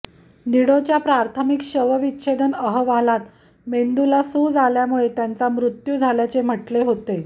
निडोच्या प्राथमिक शवविच्छेदन अहवालात मेंदूला सूज आल्यामुळे त्यांचा मृत्यू झाल्याचे म्हटले होते